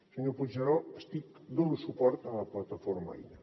senyor puigneró dono suport a la plataforma aina